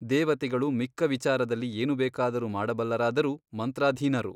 ದೇವತೆಗಳು ಮಿಕ್ಕ ವಿಚಾರದಲ್ಲಿ ಏನು ಬೇಕಾದರೂ ಮಾಡಬಲ್ಲರಾದರೂ ಮಂತ್ರಾಧೀನರು.